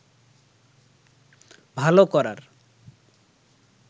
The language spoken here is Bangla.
ভালো করার